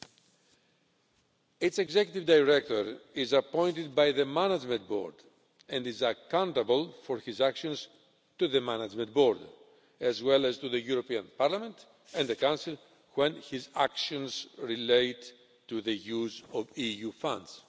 The agency's Executive Director is appointed by the Management Board and is accountable for his actions to the Management Board, as well as to the European Parliament and the Council when his actions relate to the use of EU funds.